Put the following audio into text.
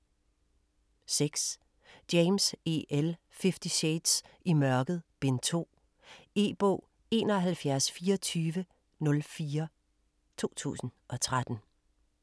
6. James, E. L.: Fifty shades: I mørket: Bind 2 E-bog 712404 2013.